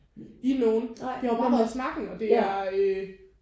I nogen det har jo bare været snakken og det er